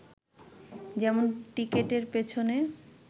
যেমন টিকেটের পেছনে